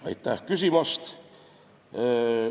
Aitäh küsimast!